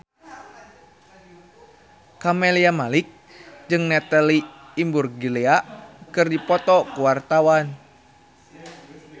Camelia Malik jeung Natalie Imbruglia keur dipoto ku wartawan